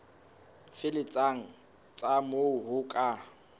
felletseng tsa moo ho ka